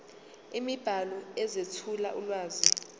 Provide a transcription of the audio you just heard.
imibhalo ezethula ulwazi